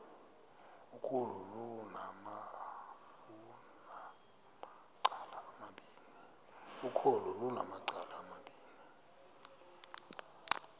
ukholo lunamacala amabini